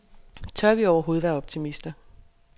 Tør vi overhovedet være optimister.